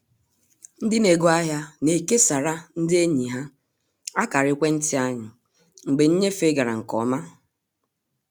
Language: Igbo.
Ndị n'ego ahịa na-ekesara ndị enyi ha akara ekwenti anyị mgbe nnyefe gara nke ọma